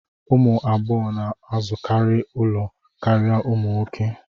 Ụmụ agbọghọ na-azụkarị ụlọ karịa ụmụ nwoke